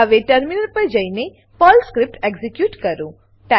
હવે ટર્મિનલ પર જઈને પર્લ સ્ક્રીપ્ટ એક્ઝીક્યુટ કરો